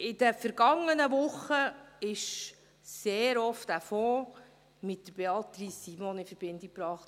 In den vergangenen Wochen wurde dieser Fonds sehr oft mit Beatrice Simon in Verbindung gebracht.